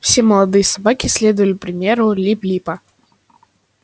все молодые собаки следовали примеру лип липа